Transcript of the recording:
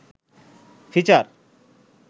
feature